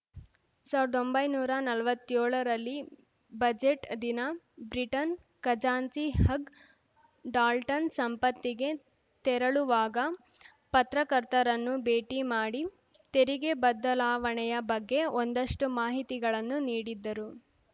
ಸಾವ್ರ್ದೊಂಬೈನೂರಾ ನಲ್ವತ್ಯೋಳರಲ್ಲಿ ಬಜೆಟ್‌ ದಿನ ಬ್ರಿಟನ್‌ ಖಜಾಂಚಿ ಹಗ್‌ ಡಾಲ್ಟನ್‌ ಸಂಸತ್ತಿಗೆ ತೆರಳುವಾಗ ಪತ್ರಕರ್ತರನ್ನು ಭೇಟಿ ಮಾಡಿ ತೆರಿಗೆ ಬದಲಾವಣೆಯ ಬಗ್ಗೆ ಒಂದಷ್ಟುಮಾಹಿತಿಗಳನ್ನು ನೀಡಿದ್ದರು